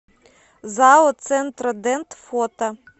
зао центродент фото